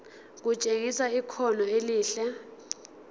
kutshengisa ikhono elihle